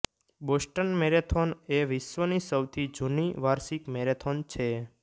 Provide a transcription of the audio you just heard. Boston marathon એ વિશ્વની સૌથી જુની વાર્ષિક મેરેથોન છે